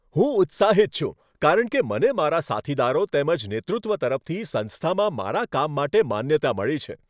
હું ઉત્સાહિત છું કારણ કે મને મારા સાથીદારો તેમજ નેતૃત્વ તરફથી સંસ્થામાં મારા કામ માટે માન્યતા મળી છે.